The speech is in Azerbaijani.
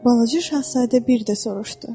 Balaca şahzadə bir də soruşdu.